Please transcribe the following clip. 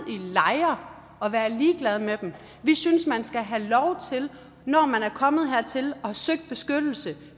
lejre og være ligeglade med dem vi synes man skal have lov til når man er kommet hertil og har søgt beskyttelse